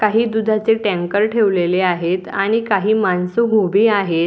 काही दुधाचे टँकर ठेवलेले आहेत आणि काही मानस उभे आहे.